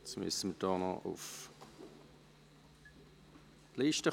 Jetzt müssen wir noch auf die Liste kommen.